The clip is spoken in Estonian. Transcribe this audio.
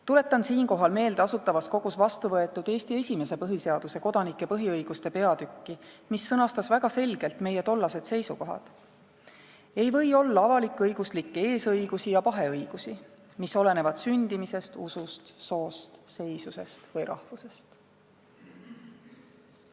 Tuletan siinkohal meelde Asutavas Kogus vastu võetud Eesti esimese põhiseaduse kodanike põhiõiguste peatükki, mis sõnastas väga selgelt meie tollased seisukohad: "Ei või olla avalikõiguslikke eesõigusi ja paheõigusi, mis olenevad sündimisest, usust, soost, seisusest või rahvusest.